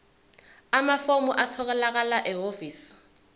amafomu atholakala ehhovisi